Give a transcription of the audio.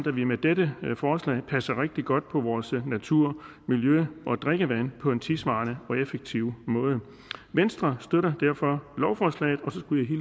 at vi med dette forslag passer rigtig godt på vores natur miljø og drikkevand på en tidssvarende og effektiv måde venstre støtter derfor lovforslaget